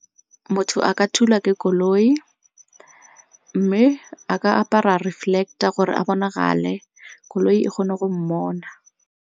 Motho a ka thulwa ke koloi mme a ka apara reflector gore a bonagale, koloi e kgone go mmona.